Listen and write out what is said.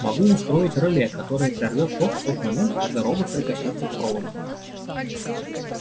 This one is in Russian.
могу устроить реле которое прервёт ток в тот момент когда робот прикоснётся к проводу